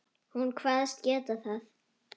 Hún kvaðst geta það.